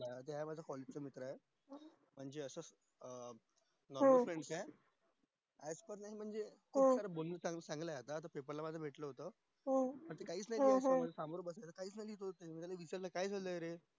चा मित्र ये म्हणजे असच अं माझा पण friend आहे म्हणजे भेटलो होतो तर तो काही च बोलत नाही समोर बसला होत मी विचारलं काय झालंय रे